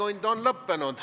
Infotund on lõppenud.